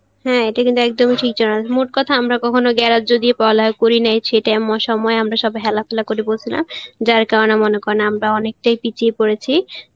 এটা কিন্তু একদমই ঠিক মোটকথা আমরা কখনও গ্রাহ্য দিয়ে পড়ালেখা করি নাই সেটা সময় আমরা সবাই হেলাফেলা করে বসলাম যার কারনে মনে করেন আমরা অনেকটাই বিছিয়ে পড়েছি